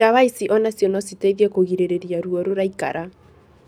Ndawa ici onacio no citeithie kũgirĩrĩria ruo rũraikara.